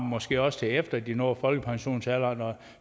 måske også til efter de når folkepensionsalderen og